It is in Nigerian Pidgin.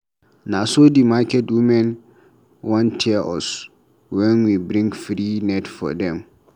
Na so the market women wan tear us wen we bring free net for dem.